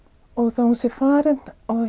þó hún sé farin